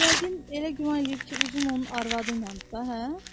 Yəqin elə güman eləyir ki, uzun onun arvadıyladır da, hə?